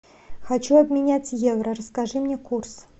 хочу обменять евро расскажи мне курс